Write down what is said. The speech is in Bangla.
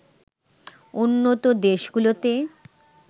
উন্নত দেশগুলোতে